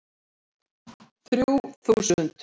Þrjú þúsund